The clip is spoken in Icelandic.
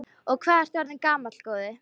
Og hvað ertu orðinn gamall, góði?